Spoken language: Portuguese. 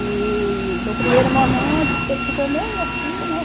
E no primeiro momento diz que ele ficou meio assim, né?